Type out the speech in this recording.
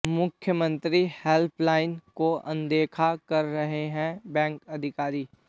मुख्यमंत्री हेल्पलाइन को अनदेखा कर रहे हैं बैंक अधिकारी